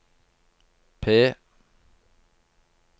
P